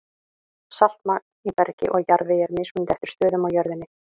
Saltmagn í bergi og jarðvegi er mismunandi eftir stöðum á jörðinni.